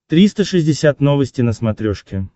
триста шестьдесят новости на смотрешке